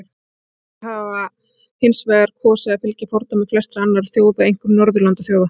Íslendingar hafa hins vegar kosið að fylgja fordæmi flestra annarra þjóða, einkum Norðurlandaþjóða.